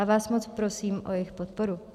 A vás moc prosím o jejich podporu.